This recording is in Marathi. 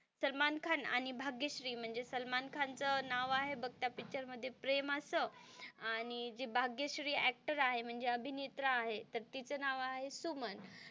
सलमान खान आणि भाग्यश्री म्हणजे सलमान खान च नाव आहे बघ त्या पिक्चर मध्ये प्रेम असं आणि जी भाग्यश्री ऍक्टर आहे म्हणजे अभिनेत्रा आहे तर तिचे नाव आहे सुमन.